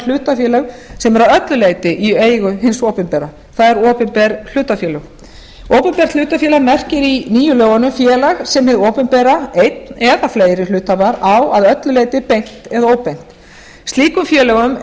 hlutafélög sem eru að öllu leyti í eigu hins opinbera það er opinber hlutafélög opinbert hlutafélag merkir í nýju lögunum félag sem hið opinbera eitt eða fleiri hluthafar á að öllu leyti beint eða óbeint slíkum félögum